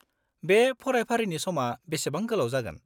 -बे फरायफारिनि समा बेसेबां गोलाव जागोन?